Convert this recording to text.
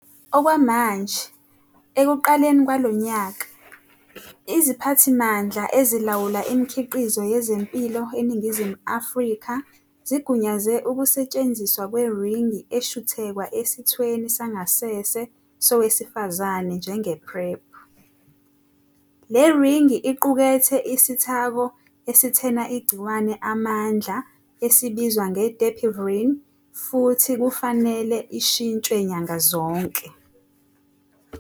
Okwamanje, ekuqaleni kwalo nyaka, iZiphathimandla Ezilawula Imikhiqizo Yezempilo eNingizimu Afrika zigunyaze ukusetshenziswa kweringi eshuthekwa esithweni sangasese sowesifazane njenge-PrEP. Le ringi iqukethe isithako esithena igciwane amandla esibizwa nge-dapivirine futhi kufanele ishintshwe nyanga zonke.